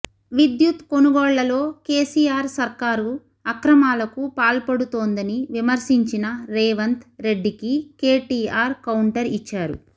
విద్యుత్ కొనుగోళ్లలో కేసీఆర్ సర్కారు అక్రమాలకు పాల్పడుతోందని విమర్శించిన రేవంత్ రెడ్డికి కేటీఆర్ కౌంటర్ ఇచ్చారు